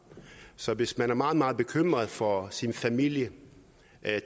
så hvis man er meget meget bekymret for sin familie